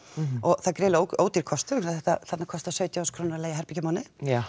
það er ódýr kostur því þarna kostar sautján þúsund krónur að leiga herbergi á mánuði